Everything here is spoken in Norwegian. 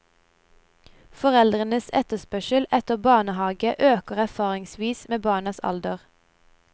Foreldrenes etterspørsel etter barnehage øker erfaringsvis med barnas alder.